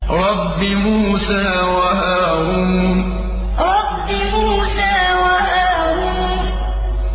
رَبِّ مُوسَىٰ وَهَارُونَ رَبِّ مُوسَىٰ وَهَارُونَ